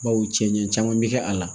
Bawo cɛn caman bɛ kɛ a la